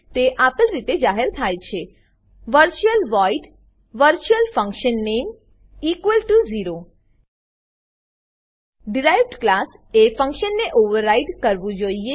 તે આપેલ રીતે જાહેર થાય છે virtual void virtualfunname0 derived class derived class એ ફંક્શનને ઓવરરાઈડ કરવું જોઈએ